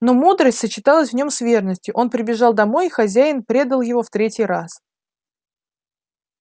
но мудрость сочеталась в нем с верностью он прибежал домой и хозяин предал его в третий раз